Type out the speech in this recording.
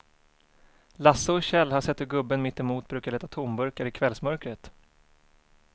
Lasse och Kjell har sett hur gubben mittemot brukar leta tomburkar i kvällsmörkret.